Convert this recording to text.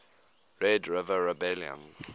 red river rebellion